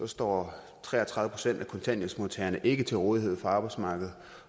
står tre og tredive procent af kontanthjælpsmodtagerne ikke til rådighed for arbejdsmarkedet